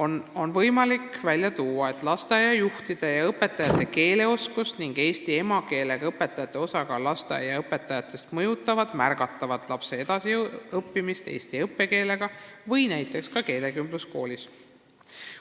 on võimalik välja lugeda, et lasteaiajuhtide ja -õpetajate keeleoskus ning eesti emakeelega õpetajate osakaal lasteaiaõpetajate hulgas mõjutavad märgatavalt lapse edasiõppimist eesti õppekeelega koolis või ka näiteks keelekümbluskoolis.